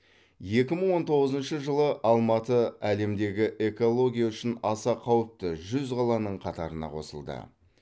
екі мың он тоғызыншы жылы алматы әлемдегі экология үшін аса қауіпті жүз қаланың қатарына қосылды